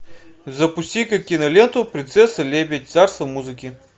запусти ка киноленту принцесса лебедь царство музыки